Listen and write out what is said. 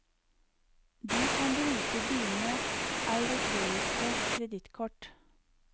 Du kan bruke dine europeiske kredittkort.